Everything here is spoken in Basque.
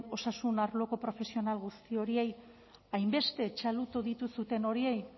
osasun arloko profesional guzti horiei hainbeste txalotu dituzuen horiei